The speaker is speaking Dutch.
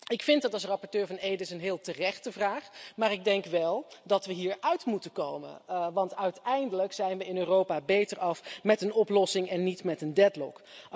Ik vind dat als rapporteur van EDIS een heel terechte vraag, maar ik denk wel dat we hieruit moeten komen want uiteindelijk zijn we in Europa beter af met een oplossing en niet met een deadlock